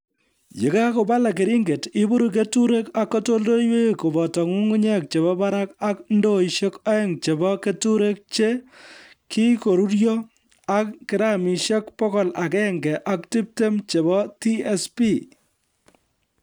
Yekakobalak keringet iburuch keturek ak katoldoloiwek koboto nyung'unyek chebo barak ak ndoishek oeng chebo keturek che kikururyo ak gramishek bokol agenge ak tiptem chebo TSP